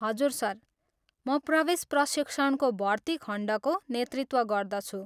हजुर सर, म प्रवेश प्रशिक्षणको भर्ती खण्डको नेतृत्व गर्दछु।